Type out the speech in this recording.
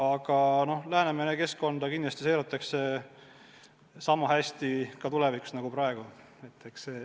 Aga Läänemere keskkonda kindlasti seiratakse sama hästi ka tulevikus.